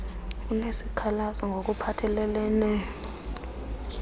unesikhalazo ngok uphathelelene